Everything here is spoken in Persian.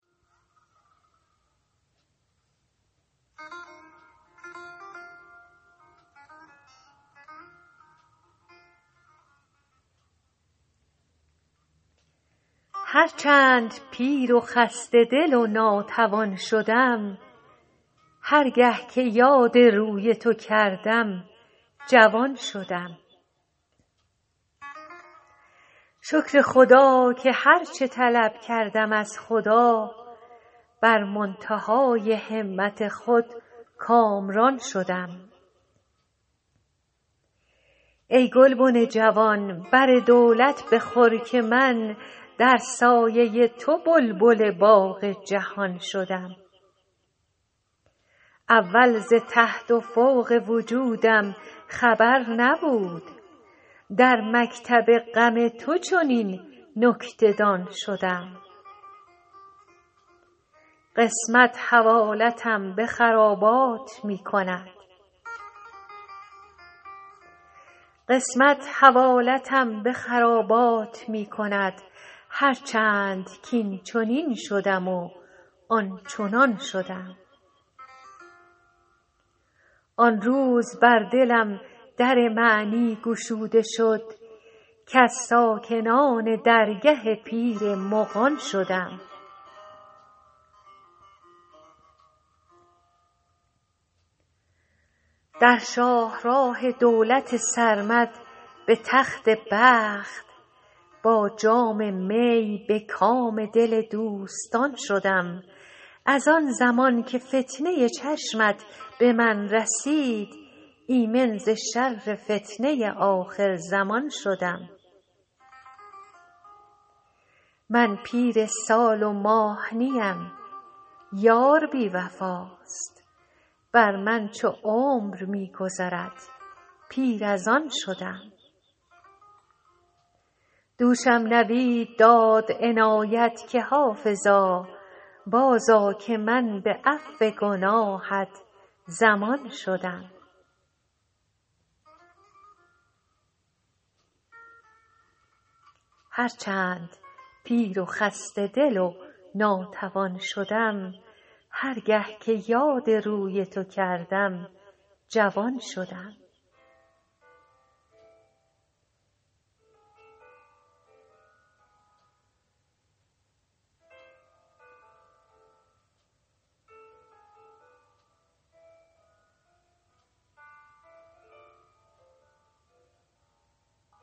هر چند پیر و خسته دل و ناتوان شدم هر گه که یاد روی تو کردم جوان شدم شکر خدا که هر چه طلب کردم از خدا بر منتهای همت خود کامران شدم ای گلبن جوان بر دولت بخور که من در سایه تو بلبل باغ جهان شدم اول ز تحت و فوق وجودم خبر نبود در مکتب غم تو چنین نکته دان شدم قسمت حوالتم به خرابات می کند هر چند کاینچنین شدم و آنچنان شدم آن روز بر دلم در معنی گشوده شد کز ساکنان درگه پیر مغان شدم در شاه راه دولت سرمد به تخت بخت با جام می به کام دل دوستان شدم از آن زمان که فتنه چشمت به من رسید ایمن ز شر فتنه آخرزمان شدم من پیر سال و ماه نیم یار بی وفاست بر من چو عمر می گذرد پیر از آن شدم دوشم نوید داد عنایت که حافظا بازآ که من به عفو گناهت ضمان شدم